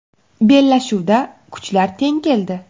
Bellashuvda kuchlar teng keldi.